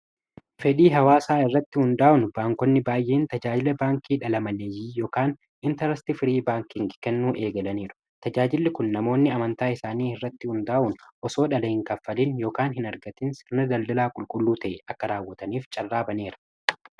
fedhii hawaa saa irratti hundaa'un baankonni baay'een tajaajila baankii dhala maleeyii yokaan intarasiti firii baanking kennuu eegalaniiru tajaajilli kun namoonni amantaa isaanii irratti hundaa'un osoodhalehin kaffaliin ykaan hin argatin sirna daldalaa qulqulluu ta'e akka raawwataniif carraabaneera